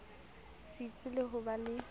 setsi le ho ba le